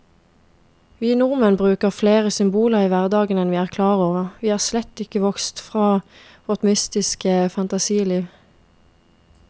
Vi nordmenn bruker flere symboler i hverdagen enn vi er klar over, vi er slett ikke vokst fra vårt mytiske fantasiliv.